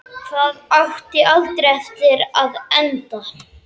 Það átti aldrei eftir að enda.